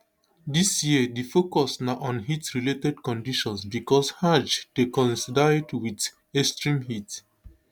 dis year di focus na on heatrelated conditions becos hajj dey coincide wit extreme heat